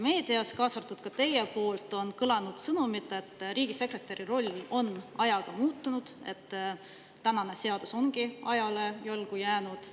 Meedias, ka teie, on kõlanud sõnumid, et riigisekretäri roll on ajaga muutunud, et seadus ongi ajale jalgu jäänud.